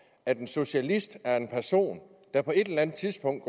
at en socialist er en person der på et eller andet tidspunkt